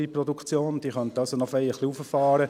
sie könnten also noch ziemlich herauffahren …